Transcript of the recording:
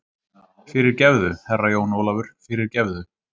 Fyrirgefðu, Herra Jón Ólafur, fyrirgefðu.